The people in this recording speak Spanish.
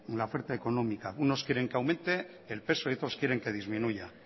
la oferta económica unos quieren que aumente el peso y otros quieren que disminuya